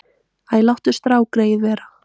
Æ, láttu strákgreyið vera.